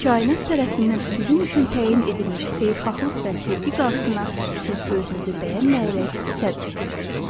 Kainat tərəfindən sizin üçün təyin edilmiş xeyirxahlıq və sevgi qarşısına siz özünüzü bəyənməyərək sədd çəkirsiniz.